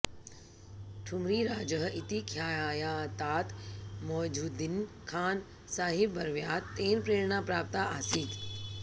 ठुम्रिराजः इति ख्यातात् मौझुद्दीन् खान् साहिब्वर्यात् तेन प्रेरणा प्राप्ता आसीत्